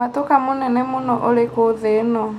mwatũka mũnene mũno ũrikũ thĩ ĩno